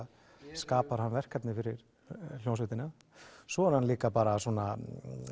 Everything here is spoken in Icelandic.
skapar hann verkefni fyrir hljómsveitina svo er hann líka svona